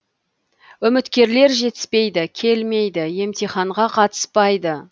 үміткерлер жетіспейді келмейді емтиханға қатыспайды